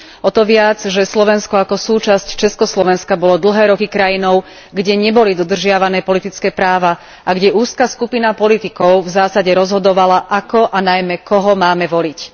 O to viac, že Slovensko ako súčasť Československa bolo dlhé roky krajinou, kde neboli dodržiavané politické práva a kde úzka skupina politikov v zásade rozhodovala ako a najmä koho máme voliť.